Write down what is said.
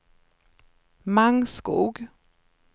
Mangskog